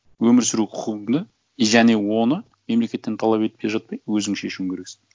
өмір сүру құқығыңды и және оны мемлекеттен талап етпей жатпай өзің шешуің керексің